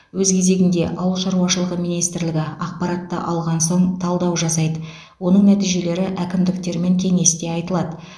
өз кезегінде ауыл шаруашылығы министрлігі ақпаратты алған соң талдау жасайды оның нәтижелері әкімдіктермен кеңесте айтылады